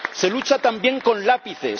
Se lucha también con lápices